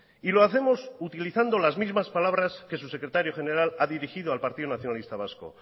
y lo hacemos utilizando las mismas palabras que su secretario general ha dirigido al partido nacionalista vasco